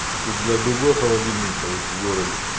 тут для другой холодильников в городе